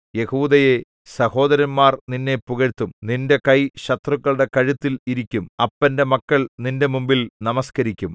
യെഹൂദയേ സഹോദരന്മാർ നിന്നെ പുകഴ്ത്തും നിന്റെ കൈ ശത്രുക്കളുടെ കഴുത്തിൽ ഇരിക്കും അപ്പന്റെ മക്കൾ നിന്റെ മുമ്പിൽ നമസ്കരിക്കും